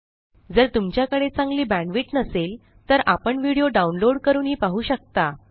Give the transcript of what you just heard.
जर तुमच्याकडे चांगली बॅण्डविड्थ नसेल तर आपण व्हिडिओ डाउनलोड करूनही पाहू शकता